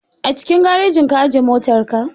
A cikin garajin ka aje motar ka?